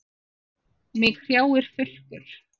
Mig hrjáir þurrkur.